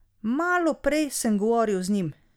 Malo prej sem govoril z njim.